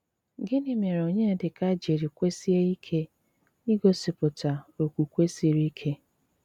Gịnị́ mére Ọnyédíkà jírí kwesíe ike i gosi pụta ókwùkwé sírí íké?